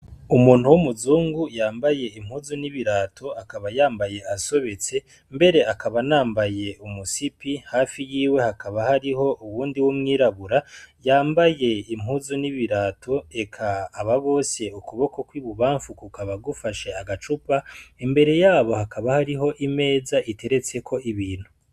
Umuntu w' umuzungu yambaye impuzu n' ibirato akaba yambaye asobetse , mbere akaba anambaye umusipi, hafi yiwe hakaba hari uwundi w' umwirabura yambaye impuzu n' ibirato, eka aba bose ukuboko kw' ibubanfu kukaba gufashe agacupa , imbere yabo hakaba hariho imeza iteretseko ibintu.